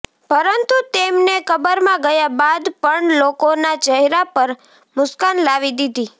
પરંતુ તેમને કબરમાં ગયા બાદ પણ લોકોના ચહેરા પર મુસ્કાન લાવી દીધી